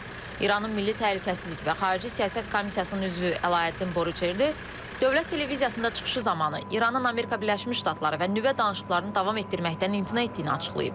İranın Milli Təhlükəsizlik və Xarici Siyasət Komissiyasının üzvü Əlaəddin Borucerdı Dövlət Televiziyasında çıxışı zamanı İranın Amerika Birləşmiş Ştatları və nüvə danışıqlarını davam etdirməkdən imtina etdiyini açıqlayıb.